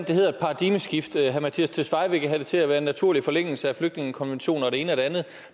det hedder et paradigmeskift herre mattias tesfaye vil have det til at være en naturlig forlængelse af flygtningekonventionen og det ene og det andet